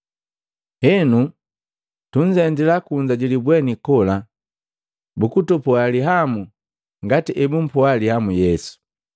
Henu tunzendila kunza ji libweni kola, bukutupoa lihamu ngati ebumpoa lihamu Yesu.